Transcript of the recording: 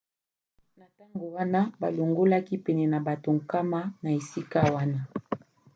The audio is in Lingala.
na ntango wana balongolaki pene ya bato 100 na esika wana